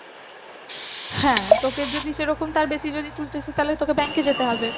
হ্যাঁ তোকে যদি সে রকম তার বেশি যদি তুলতে তাহলে তোকে bank এ যেতে হবে।